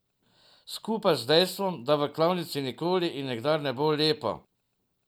Skupaj z dejstvom, da v klavnici nikoli in nikdar ne bo lepo.